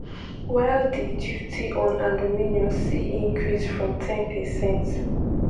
while di duty on aluminium see increase from ten percent.